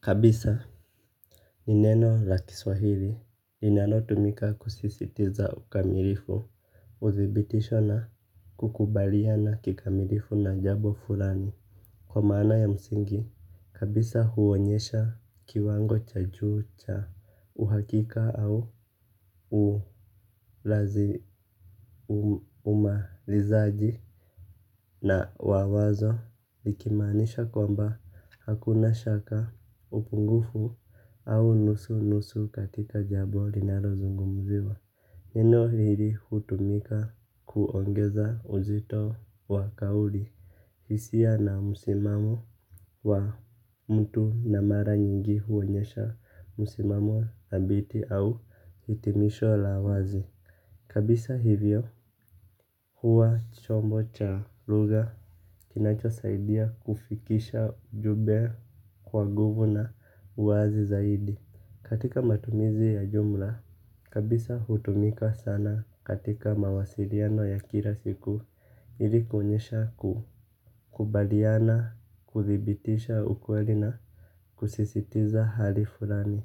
Kabisa, ni neno la kiswahili linanotumika kusisitiza ukamilifu, uthibitisho na kukubaliana kikamilifu na jambo fulani. Kwa maana ya msingi, kabisa huonyesha kiwango cha juu cha uhakika au umalizaji. Na wa wazo likimaanisha kwamba hakuna shaka, upungufu au nusu nusu katika jambo linalozungumziwa. Neno hili hutumika kuongeza uzito wa kauli hisia na msimamo wa mtu na mara nyingi huonyesha, msimamo thabiti au hitimisho la wazi. Kabisa hivyo, huwa chombo cha lugha kinachosaidia kufikisha ujumbe kwa nguvu na uwazi zaidi. Katika matumizi ya jumla kabisa hutumika sana katika mawasiliano ya kila siku. Ili kuonyesha kukubaliana, kuthibitisha ukweli na kusisitiza hali fulani.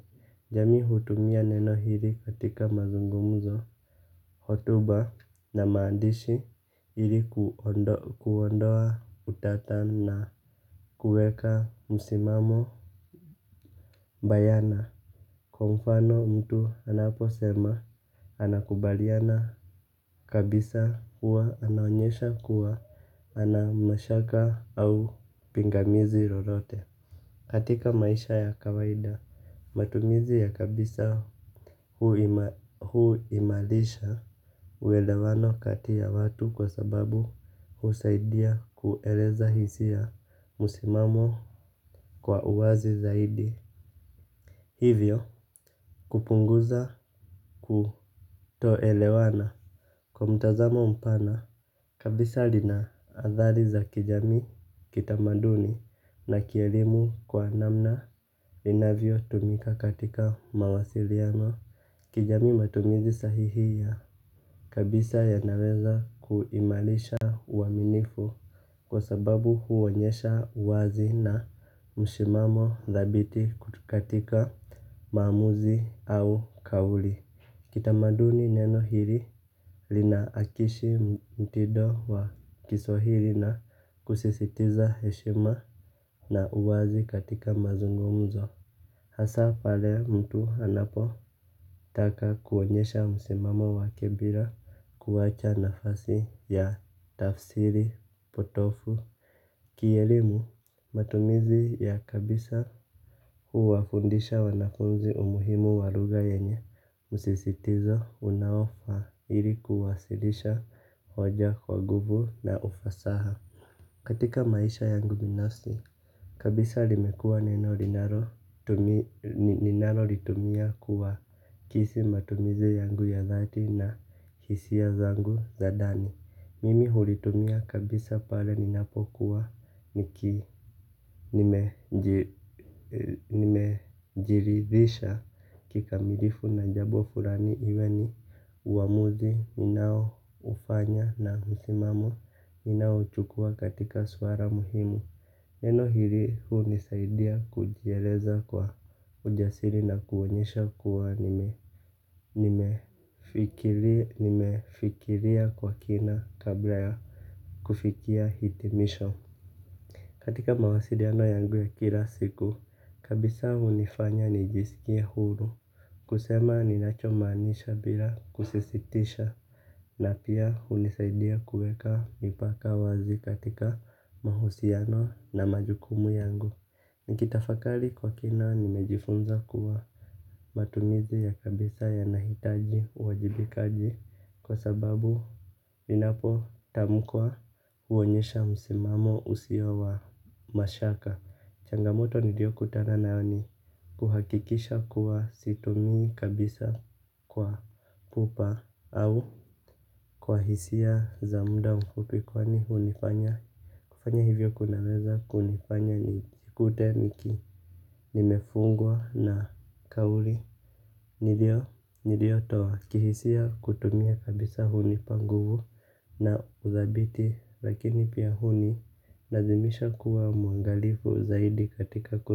Jamii hutumia neno hili katika mazungumzo. Hotuba na maandishi ili kuondoa utata na kuweka msimamo bayana, kwa mfano mtu anaposema, anakubaliana kabisa huwa anonyesha kuwa, hana mashaka au pingamizi lolote. Katika maisha ya kawaida, matumizi ya kabisa huimarisha uelewano kati ya watu kwa sababu husaidia kueleza hisia, msimamo kwa uwazi zaidi. Hivyo kupunguza kutoelewana kwa mtazamo mpana kabisa, lina adhari za kijamii, kitamaduni na kielimu kwa namna inavyo tumika katika mawasiliano. Kijamii matumizi sahihi ya kabisa yanaweza kuimarisha uaminifu. Kwa sababu huonyesha uwazi na msimamo dhabiti katika maamuzi au kauli. Kitamaduni neno hili, linaakishi mtindo wa kiswahili na kusisitiza heshima na uwazi katika mazungumzo. Hasa pale mtu anapotaka kuonyesha msimamo wake bila kuwacha nafasi ya tafsiri potofu. Kielimu, matumizi ya Kabisa Huwafundisha wanafunzi umuhimu wa lugha yenye, msisitizo unaofaa ili kuwasilisha hoja kwa guvu na ufasaha. Katika maisha yangu binafsi, kabisa limekua neno linalo ninalolitumia kuakisi matumizi yangu ya dhati na hisia zangu za ndani. Mimi hulitumia kabisa pale ninapokuwa nimejiridhisha kikamilifu na jambo fulani iwe ni uamuzi unaoufanya na msimamo ninaochukua katika swala muhimu. Neno hili hunisaidia kujieleza kwa ujasiri na kuonyesha kuwa nime nimefikiria kwa kina kabla ha kufikia hitimisho. Katika mawasiliano yangu ya kila siku, kabisa hunifanya nijiskie huru kusema ninacho maanisha bila kusisitisha na pia hunisaidia kuweka mipaka wazi, katika mahusiano na majukumu yangu. Nikitafakari kwa kina nimejifunza kuwa matumizi ya kabisa yanahitaji uwajibikaji kwa sababu linapotamkwa, huonyesha msimamo usio wa mashaka. Changamoto niliokutana nayo ni kuhakikisha kuwa situmii kabisa kwa pupa au kwa hisia za muda mfupi kwani hunifanya kufanya hivyo kunaweza kunifanya nijikute nimefungwa na kauli niliotoa. Kihisia kutumia kabisa hunipa nguvu na uthabiti lakini pia hunilazimisha kuwa mwangalifu zaidi katika.